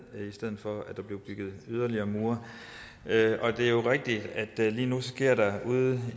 i stedet for at der blev bygget yderligere mure og det er jo rigtigt at lige nu ude